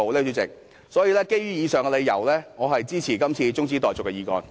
所以，主席，基於以上理由，我支持這次中止待續議案。